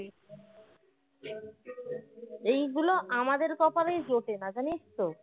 এইগুলো আমাদের কপালেই জোটে না জানিস তো